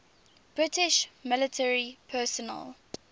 british military personnel